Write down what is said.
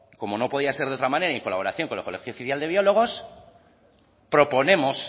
como no podía ser de otra manera y en colaboración con el colegio oficial de biólogos proponemos